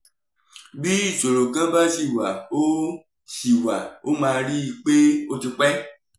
bí ìṣòro kan bá ṣì wà ó ṣì wà ó máa rí i pé ó ti pẹ́